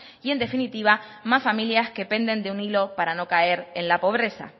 y en definitiva más familias que penden de un hilo para no caer en la pobreza